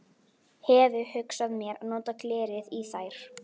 Hefi hugsað mér að nota glerið í þær.